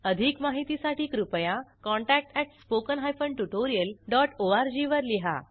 अधिक माहितीसाठी कृपया contact at spoken hyphen tutorial dot ORG वर लिहा